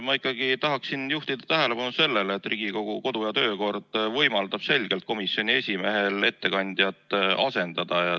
Ma ikkagi tahaksin juhtida tähelepanu sellele, et Riigikogu kodu- ja töökorra seadus võimaldab selgelt komisjoni esimehel ettekandjat asendada.